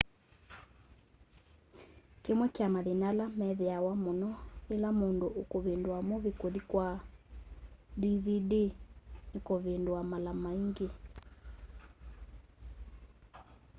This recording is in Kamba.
kĩmwe kya mathĩna ala methĩawa mũno ĩla mũndũ ũkũvĩndũa movĩe kũthĩ kwa dvd nĩkũvĩndũa mala maĩngĩ